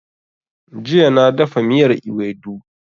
Jiya na dafa miyar Iwedu